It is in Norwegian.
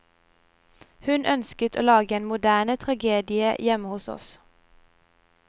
Hun ønsket å lage en moderne tragedie hjemme hos oss.